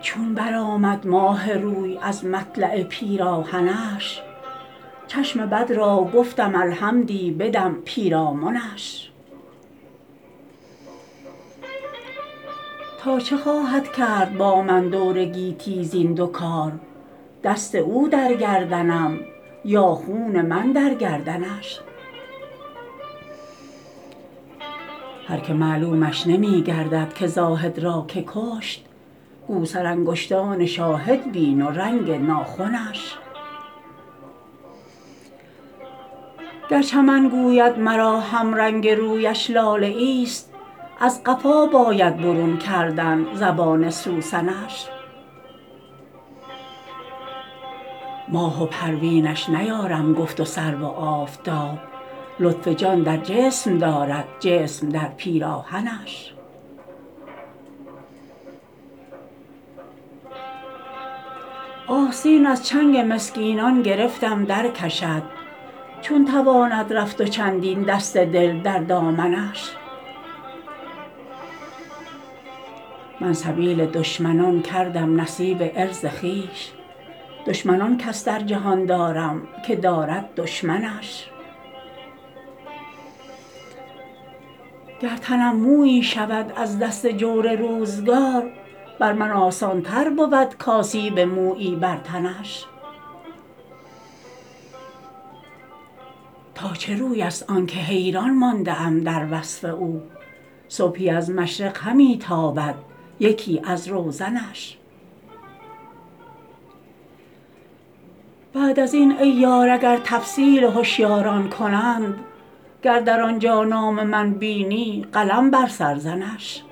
چون برآمد ماه روی از مطلع پیراهنش چشم بد را گفتم الحمدی بدم پیرامنش تا چه خواهد کرد با من دور گیتی زین دو کار دست او در گردنم یا خون من در گردنش هر که معلومش نمی گردد که زاهد را که کشت گو سرانگشتان شاهد بین و رنگ ناخنش گر چمن گوید مرا همرنگ رویش لاله ایست از قفا باید برون کردن زبان سوسنش ماه و پروینش نیارم گفت و سرو و آفتاب لطف جان در جسم دارد جسم در پیراهنش آستین از چنگ مسکینان گرفتم درکشد چون تواند رفت و چندین دست دل در دامنش من سبیل دشمنان کردم نصیب عرض خویش دشمن آن کس در جهان دارم که دارد دشمنش گر تنم مویی شود از دست جور روزگار بر من آسان تر بود کآسیب مویی بر تنش تا چه روی است آن که حیران مانده ام در وصف او صبحی از مشرق همی تابد یکی از روزنش بعد از این ای یار اگر تفصیل هشیاران کنند گر در آنجا نام من بینی قلم بر سر زنش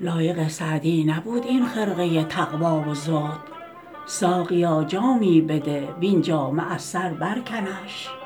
لایق سعدی نبود این خرقه تقوا و زهد ساقیا جامی بده وین جامه از سر برکنش